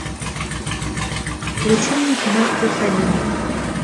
включи мне кино плюс один